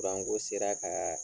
ko sera kaa